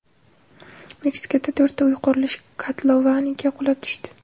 Meksikada to‘rtta uy qurilish kotlovaniga qulab tushdi.